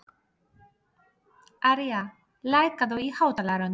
Aría, lækkaðu í hátalaranum.